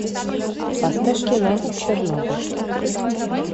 поставь кино чернобыль